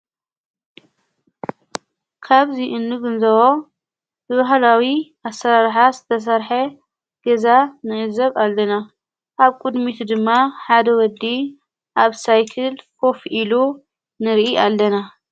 ካብዙይ እንግንዘዎ ብባህላዊ ኣሠራርኃ ዝተሠርሐ ገዛ ንእዘብ ኣልለና ኣብ ቅድሚቱ ድማ ሓደ ወዲ ኣብ ሳይክል ኮፍ ኢሉ ንርኢ ኣለና።